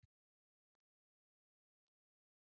Gefur Massa lakari einkunn